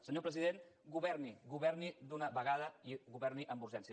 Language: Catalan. senyor president governi governi d’una vegada i governi amb urgència